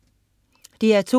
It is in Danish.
DR2: